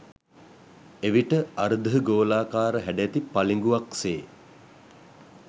එවිට අර්ධ ගෝලාකාර හැඩැති පළිඟුවක් සේ